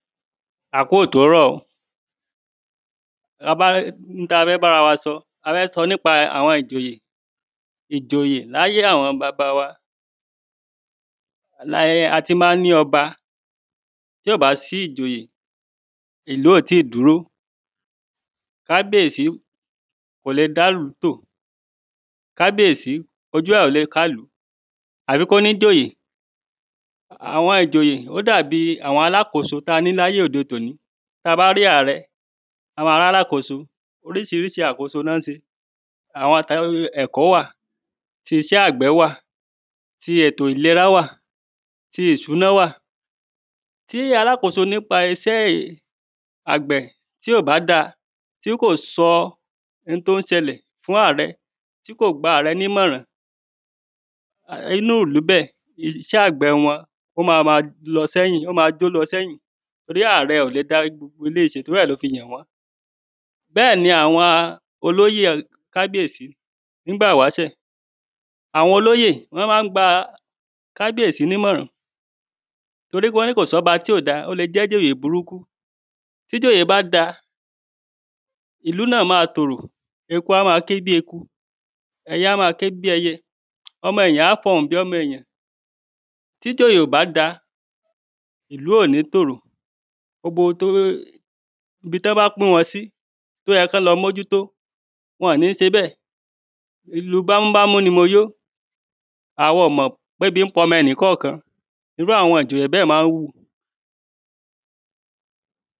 A kú òtòórọ̀ta bá fẹ́ n ta fẹ́ bára wa sọ a fẹ́ sọ nípa àwọn ìjòyè ìjòyè láyé àwọn baba wa lati ma ń ní ọba tí ò bá si ìjòyè ìlú ò tí dúró. Kábíèsí kò lé dá lú tò; kábíèsí ojú ẹ̀ ò le ká lú; àfi kó ní ìjòyè àwọn ìjòyè. Ó dà bi àwọn alákóso taní láyé òde toní ta bá rí àrẹ a ma rí alákóso oríṣiríṣi àkóso ni wọ́n ṣe; àwọn ti ẹ̀kọ́ wà; ti iṣẹ́ àgbẹ̀ wà; ti ètò ìlera wà; ti ìṣúná wà; ti alákóso nípa iṣẹ́ àgbẹ́ tí o bá da tí kò sọ n tó ń ṣẹlẹ̀ fún àrẹ, tí kò gba àrẹ ní mọ̀ràn inú ìlú. Bẹ́ẹ̀ iṣẹ́ àgbẹ wọn ó ma ma lọ sẹ́yìn ó ma jó lọ sẹ́yìn torí àrẹ ò le dá gbogbo eléyìí ṣe. Torí ẹ̀ ló fi yàn wọ́n bẹ́ẹ̀ ni àwọn olóyè kábíèsí nígbà wáṣẹ̀ àwọn olóyè wọ́n má ń gba kábíèsí ní mọ̀ràn torí pé wọ́n ní kò sí ọba tí ò da, ó le jẹ́ ìjòyè burúkú. Tí ìjòyè bá da ìlú náà má tòrò; eku á ma ké bí eku; ẹyẹ a ma ké bi ẹyẹ; ọmọ èèyàn a fọhùn bí omo èèyàn. Tí ìjòyè ò bá da ìlú ò ní tòrò ibi tọ́ bá pín wọn sí tóyẹ kán lọ́ mójú tó wọ̀n ní ṣe bẹ́ẹ̀ ilù bámúbámú ni mo yó àwa ọ̀ mọ̀ pébi ń pa ọmo ẹnìkọ́ọ̀kan ni irú àwọn ìjòyè bẹ́ẹ̀ ma ń wù.